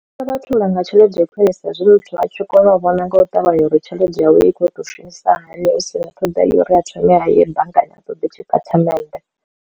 Sa vhathu vha nga tshelede khwinisa hezwi muthu a tshi kona u vhona nga u ṱavhanya uri tshelede yawe i kho to shumisa hani hu si na ṱhoḓea uri a thome ha ye banngani a ṱoḓe tshi tatimente.